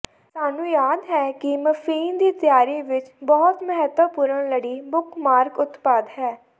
ਸਾਨੂੰ ਯਾਦ ਹੈ ਕਿ ਮਫ਼ਿਨ ਦੀ ਤਿਆਰੀ ਵਿੱਚ ਬਹੁਤ ਮਹੱਤਵਪੂਰਨ ਲੜੀ ਬੁੱਕਮਾਰਕ ਉਤਪਾਦ ਹੈ